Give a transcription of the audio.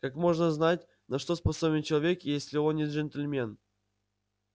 как можно знать на что способен человек если он не джентльмен